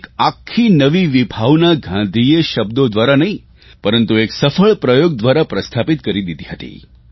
એક આખી નવી વિભાવના ગાંધીએ શબ્દો દ્વારા નહીં પરંતુ એક સફળ પ્રયોગ દ્વારા પ્રસ્થાપિત કરી દીધી હતી